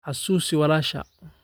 Xusuusi walaashaa